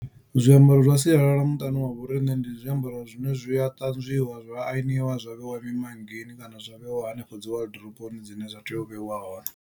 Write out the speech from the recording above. Zwiambaro zwa sialala muṱani wavho riṋe ndi zwiambaro zwine zwia ṱanzwiwa zwa aniwa zwa vheiwa mimanngini kana zwa vheiwa hanefho dzi waḓiroboni zwine zwa tea u vheiwa hone.